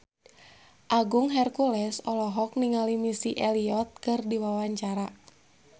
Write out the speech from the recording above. Agung Hercules olohok ningali Missy Elliott keur diwawancara